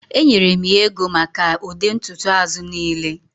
Enyere m ya ego maka ụdị ntutu azụ niile